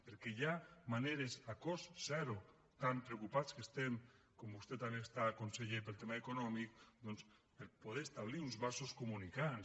perquè hi ha maneres a cost zero tan preocupats com estem com vostè també ho està conseller pel tema econòmic per poder establir uns vasos comunicants